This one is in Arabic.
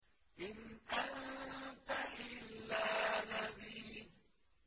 إِنْ أَنتَ إِلَّا نَذِيرٌ